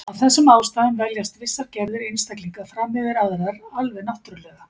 Af þessum ástæðum veljast vissar gerðir einstaklinga fram yfir aðrar, alveg náttúrulega.